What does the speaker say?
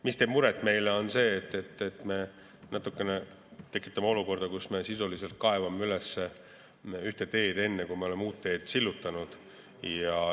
Mis meile muret teeb, on see, et me natukene tekitame olukorda, kus me sisuliselt kaevame üles ühte teed enne, kui oleme uue tee sillutanud.